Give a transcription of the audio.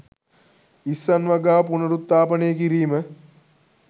ඉස්සන් වගාව පුනරුත්ථාපනය කිරීම